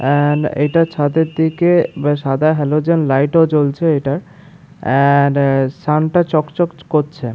And এইটা ছাদের থেকে সাদা হ্যালোজেন লাইট জ্বলছে এইটার এন্ড সান টা চকচক করছে।